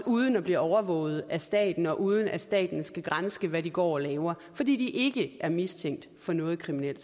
uden at blive overvåget af staten og uden at staten skal granske i hvad de går og laver fordi de ikke er mistænkt for noget kriminelt